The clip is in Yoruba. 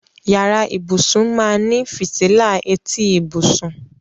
Ìyàrá ìbùṣún máá ní fítílà ètí ìbùṣún.